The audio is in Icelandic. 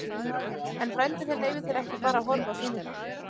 En frændi þinn leyfir þér ekki bara að horfa á sýningar.